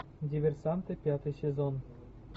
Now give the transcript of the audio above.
диверсанты пятый сезон